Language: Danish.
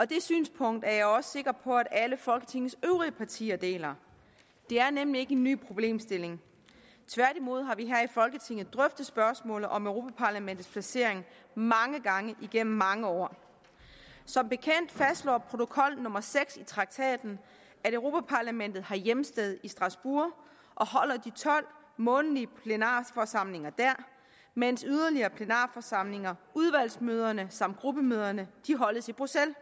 det synspunkt er jeg også sikker på at alle folketingets øvrige partier deler det er nemlig ikke en ny problemstilling tværtimod har vi her i folketinget drøftet spørgsmålet om europa parlamentets placering mange gange igennem mange år som bekendt fastslår protokol nummer seks i traktaten at europa parlamentet har hjemsted i strasbourg og holder de tolv månedlige plenarforsamlinger der mens yderligere plenarforsamlinger udvalgsmøderne samt gruppemøderne holdes i bruxelles